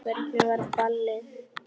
Hvernig var ballið?